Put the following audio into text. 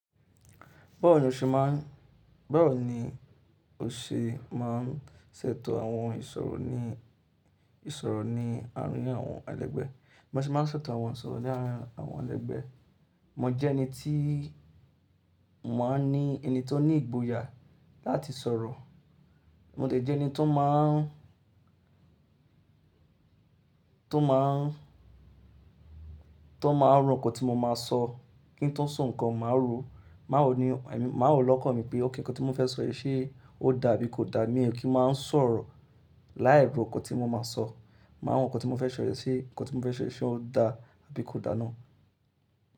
Báwo ni o ṣe máà ń, báwo ni o ṣe má ń ṣètò àwọn ìsọ̀rọ̀ ní, ìsọ̀rọ̀ ní àárín àwọn ẹlẹ́gbẹ́? Ba ṣe má ń ṣètò àwọn ìsọ̀rọ̀ ní àárín àwọn ẹlẹ́gbẹ́. Mo jẹ́ ẹni tí mo má ń ni, ẹni tó ní ìgboyà láti sọ̀rọ̀. Mo de jẹ́ ẹni tó má ń, tó má ń, tó máa ń rò nkan tí mo máa sọ kí n tó sọ nǹkan, màá ro. Màá ro ní ẹ̀mí, màá ro lọ́kàn mi pé, okay, nǹkan tí mo fẹ́ sọ yii ṣé ó da àbí kò da. Mi ò kí ń má ń sọ̀rọ̀ láì ro oko tí mo máa sọ. Màá rò nǹkan tí mo fẹ́ se yii ṣé nǹkan tí mo fẹ́ se yii ṣé ó da àbí kò da ná.